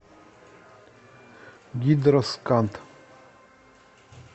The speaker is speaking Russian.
гидросканд